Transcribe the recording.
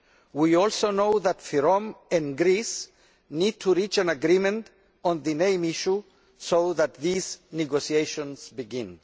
We also know that FYROM and Greece need to reach an agreement on the name issue so that these negotiations can begin.